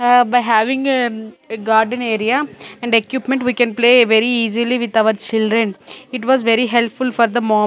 ah by having a um garden area and equipment we can play very easily with our children it was very helpful for the mom.